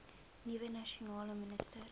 nuwe nasionale minister